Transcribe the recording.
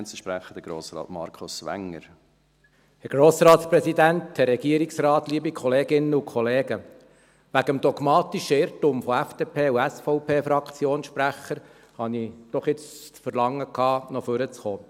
Wegen des dogmatischen Irrtums der SVP- und FDP-Fraktionssprecher, habe ich jetzt doch das Verlagen gehabt, nach vorne zu kommen.